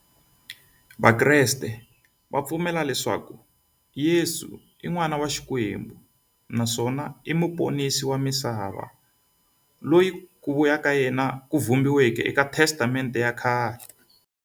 Vakreste va pfumela leswaku Yesu i n'wana wa Xikwembu naswona i muponisi wa misava, loyi ku vuya ka yena ku vhumbiweke e ka Testamente ya khale.